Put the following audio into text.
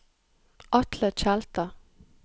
Atle Tjelta